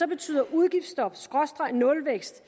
betyder udgiftsstop skråstreg nulvækst